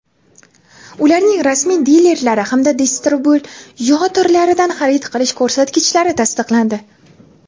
ularning rasmiy dilerlari hamda distribyutorlaridan xarid qilish ko‘rsatkichlari tasdiqlandi.